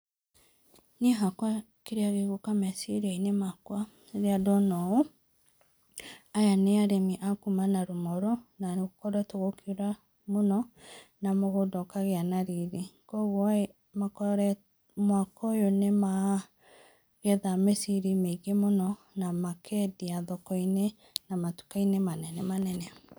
Niĩ hakwa kĩrĩa gĩ gũka meciri inĩ makwa rĩrĩa ndona ũ aya nĩ arĩmi a kũma Narumoro na gũkoretwo gũkĩũra mũno na mũgũnda ũkagĩa na rĩrĩ, kwogwo mwaka ũyũ nĩmagetha mĩciri mĩngĩ mũno na makeendĩa thoko inĩ na matuka inĩ manene manene.